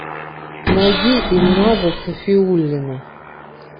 найди ильназа сафиуллина